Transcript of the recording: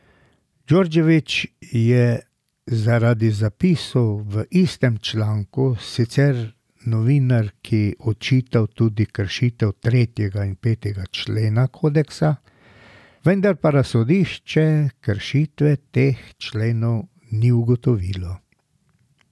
Djordjević je zaradi zapisov v istem članku sicer novinarki očital tudi kršitev tretjega in petega člena kodeksa, vendar pa razsodišče kršitev teh členov ni ugotovilo.